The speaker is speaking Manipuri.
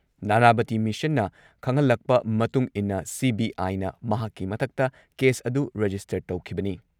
ꯅꯥꯅꯥꯕꯇꯤ ꯃꯤꯁꯟꯅ ꯈꯪꯍꯜꯂꯛꯄ ꯃꯇꯨꯡꯏꯟꯅ ꯁꯤ.ꯕꯤ.ꯑꯥꯏꯅ ꯃꯍꯥꯛꯀꯤ ꯃꯊꯛꯇ ꯀꯦꯁ ꯑꯗꯨ ꯔꯦꯖꯤꯁꯇꯔ ꯇꯧꯈꯤꯕꯅꯤ ꯫